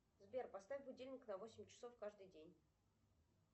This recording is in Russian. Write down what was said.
сбер поставь будильник на восемь часов каждый день